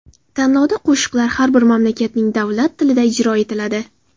Tanlovda qo‘shiqlar har bir mamlakatning davlat tilida ijro etiladi.